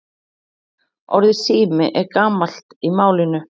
Orðið sími er gamalt í málinu.